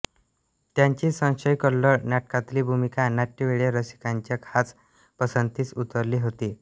त्यांची संशय कल्लोळ नाटकातली भूमिका नाट्यवेड्या रसिकांच्या खास पसंतीस उतरली होती